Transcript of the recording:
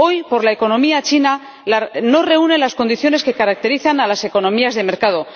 Hoy por hoy, la economía china no reúne las condiciones que caracterizan a las economías de mercado.